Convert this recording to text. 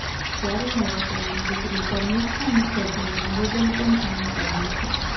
ત્યારે હવે તેમની દીકરી શર્મિષ્ઠા મુખર્જીનું નિવેદન પણ સામે આવ્યું છે